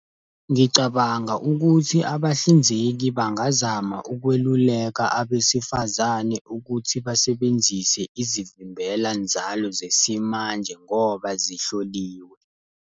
Ngicabanga ukuthi abahlinzeki bangazama ukweluleka abesifazane ukuthi basebenzise izivimbela nzalo zesimanje ngoba zihloliwe.